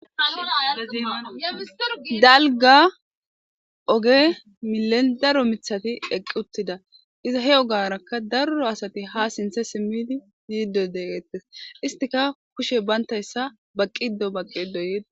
Dalga oge milen daro mithati eqi utida iza he ogaraka daro asati ha sinthe simidi yido de'ets istika kushe banaysa baqido baqido yetes